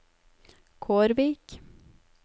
Kårvik